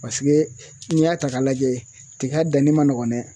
Paseke n'i y'a ta k'a lajɛ tiga danni ma nɔgɔn dɛ.